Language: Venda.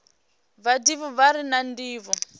vhadivhi vha re na ndivho